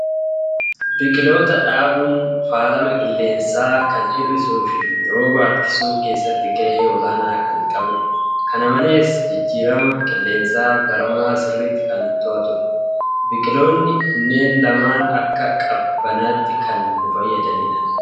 Biqiltoota dhaabuun faalama qilleensaa kan hir'isuu fi rooba harkisuu keessatti gahee olaanaa kan qabudha. Kana malees, jijjiirama qilleensa baramaa sirriitt kan to'atudha. Biqiltoonni kunneen lamaan akka qabbanaatti kan nu fayyadanidha.